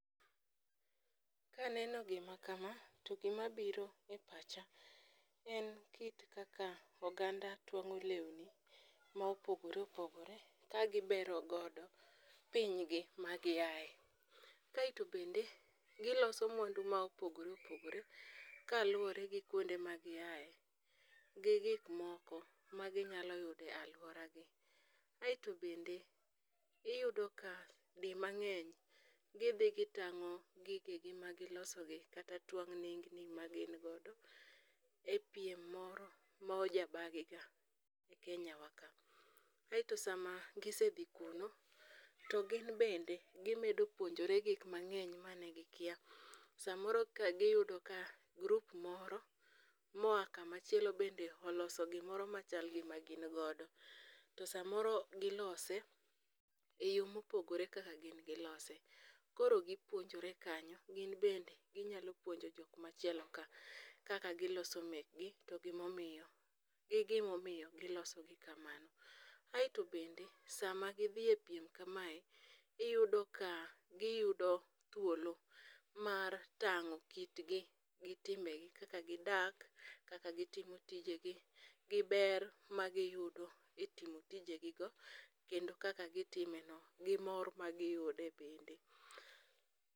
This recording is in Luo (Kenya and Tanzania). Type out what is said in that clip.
Kaneno gi ma kama, to gi mabiro e pacha, en kit kaka oganda twang'o lewni, ma opogore opogore, ka gibero godo pinygi ma giaye. Kae to bende, giloso mwandu ma opogore opogore, kaluwore gi kuonde ma giaye, g gik moko ma ginyalo yudo aluora gi. Ae to bende, iyudo ka di mang'eny gidhi gitang'o gige gi ma giloso gi kata twang' nengni ma gin godo, e piem moro mojabagiga e Kenya wa ka. Ae to sama ma gise dhi kuno, to gin bende, gimedo puonjore gik mang'eny mane gikia. samoro ka giyudo ka, group moro, moa kama chielo bende oloso gimoro machal gi magin godo, to samoro gilose, e yo mopogore gi kaka gilose. Koro gipuonjore kanyo ginbende ginyalo puonjo jok machielo ka kaka giloso mekgi to gimomiyo, gi gimomiyo giloso gi kamano. Ae to bende, sama gidhi e piem kamae, iyudo ka, giyudo thuolo mar tang'o kitgi gi timbegi kaka gidak, kaka gitimo tijegi gi ber magiyudo e timo tijegi gi kendo kaka gitime no gi mor magiyude bende